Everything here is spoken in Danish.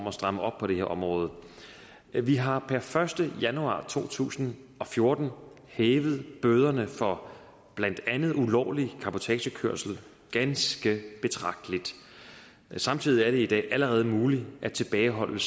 at stramme op på det her område vi har per første januar to tusind og fjorten hævet bøderne for blandt andet ulovlig cabotagekørsel ganske betragteligt samtidig er det i dag allerede muligt at tilbageholde